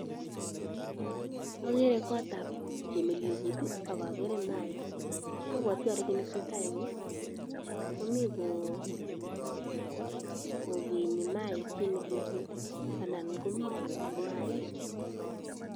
Okere kotab chepnyelekut ak okere maik, obwoti olee kiit neteseta eng' yuukomii ko kenyi maik chepnyelekut anan komii koloku maik.